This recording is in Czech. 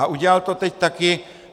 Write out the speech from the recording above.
A udělal to teď taky.